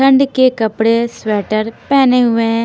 ठंड के कपढ़े स्वेटर पहने हुए है।